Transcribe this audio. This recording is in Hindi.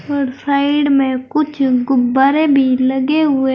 और साइड में कुछ गुब्बारे भी लगे हुए--